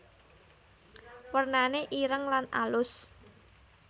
Wernane ireng lan alus